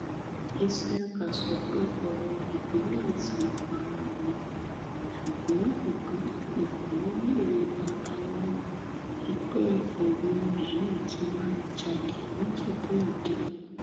isiaka sọ pé ọmọ ìpínlẹ zamfara lòun ṣùgbọn ìpínlẹ èkó lòun àtàwọn ẹgbẹ òun yìí ti wáá jalè nìjẹbúòde